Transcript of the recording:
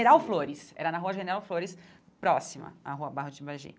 General Flores, era na rua General Flores, próxima à rua Barro de Imbagir.